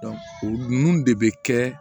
o ninnu de bɛ kɛ